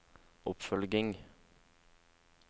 oppfølging